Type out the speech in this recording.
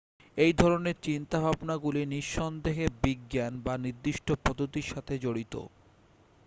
এই ধরণের চিন্তাভাবনাগুলি নি:সন্দেহে বিজ্ঞান বা নির্দিষ্ট পদ্ধতির সাথে জড়িত।